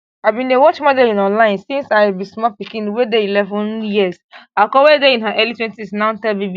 i bin dey watch modelling online since i be small pikin wey dey eleven years akol wey dey in her early twenties now tell bb